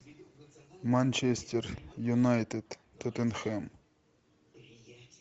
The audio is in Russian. манчестер юнайтед тоттенхэм